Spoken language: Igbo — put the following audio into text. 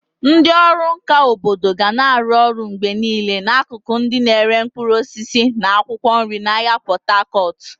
Ndị ọrụ nka obodo ga na-arụ ọrụ mgbe niile n'akụkụ ndị na-ere mkpụrụ osisi na akwụkwọ nri n'ahịa Pot Tarcot.